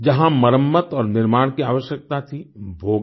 जहां मरम्मत और निर्माण की आवश्यकता थी वो किया